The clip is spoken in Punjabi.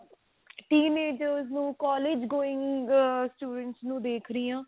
teen agers ਨੂੰ collage going ah students ਨੂੰ ਦੇਖਦੀ ਹਾਂ